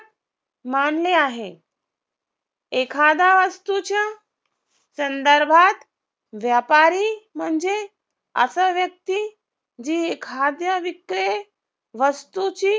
मानले आहे एखाद्या वास्तूच्या संदर्भात व्यापारी म्हणजे असा व्यक्ती जी एखाद्या विक्रय वस्तूची